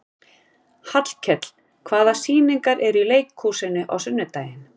Hallkell, hvaða sýningar eru í leikhúsinu á sunnudaginn?